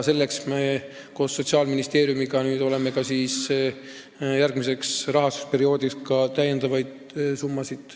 Selleks me saame koos Sotsiaalministeeriumiga järgmiseks rahastusperioodiks ka täiendavaid summasid.